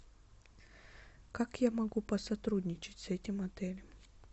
как я могу посотрудничать с этим отелем